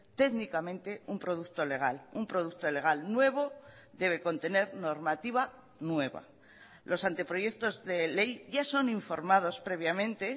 técnicamente un producto legal un producto legal nuevo debe contener normativa nueva los anteproyectos de ley ya son informados previamente